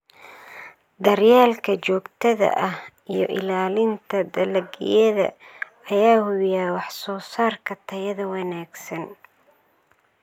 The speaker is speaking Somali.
Daryeelka joogtada ah iyo ilaalinta dalagyada ayaa hubiya wax-soo-saarka tayada wanaagsan.